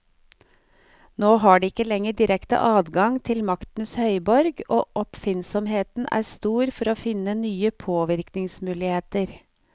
Nå har de ikke lenger direkte adgang til maktens høyborg, og oppfinnsomheten er stor for å finne nye påvirkningsmuligheter.